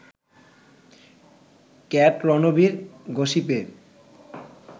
ক্যাট-রণবীর গসিপে